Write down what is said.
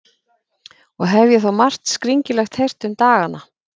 Og hef ég þó margt skringilegt heyrt um dagana.